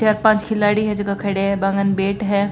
चार पांच खिलाडी है झका खड़ा बा कन बेट है।